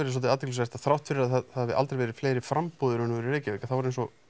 svolítið athyglisvert að þrátt fyrir að það hafi aldrei verið fleiri framboð í raun og veru í Reykjavík að þá er eins og